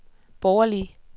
borgerlige